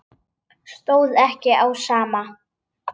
Stóð ekki á sama.